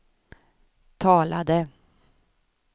talade